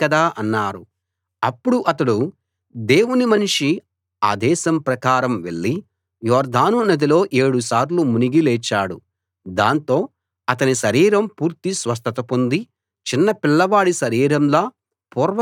అప్పుడు అతడు దేవుని మనిషి ఆదేశం ప్రకారం వెళ్ళి యొర్దాను నదిలో ఏడు సార్లు మునిగి లేచాడు దాంతో అతని శరీరం పూర్తి స్వస్థత పొంది చిన్నపిల్లవాడి శరీరంలా పూర్వ స్థితికి వచ్చింది